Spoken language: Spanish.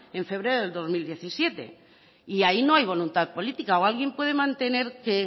en febrero del dos mil diecisiete y ahí no hay voluntad política o alguien puede mantener que